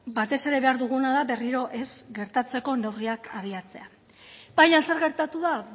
batez ere behar duguna da berriro ez gertatzeko neurriak abiatzea baina zer gertatu da